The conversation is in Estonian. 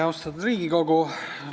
Austatud Riigikogu!